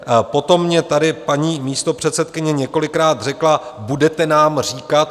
Potom mě tady paní místopředsedkyně několikrát řekla: Budete nám říkat.